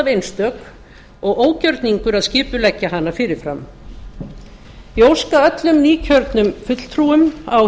einstök og ógjörningur að skipuleggja hana fyrirfram ég óska öllum nýkjörnum fulltrúum á